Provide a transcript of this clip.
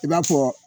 I b'a fɔ